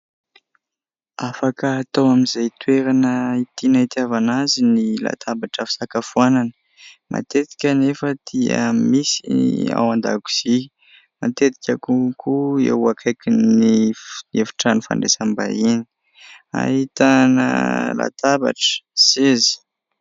Afaka atao amin'izay toerana tiana itiavana azy ny latabatra fisakafoanana, matetika anefa dia misy ao an-dakozia, matetika konkoa eo akaikin'ny efitrano fandraisam-bahiny ahitana latabatra seza.